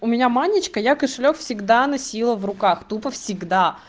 у меня манечка я кошелёк всегда носила в руках тупо всегда